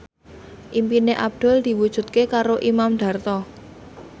impine Abdul diwujudke karo Imam Darto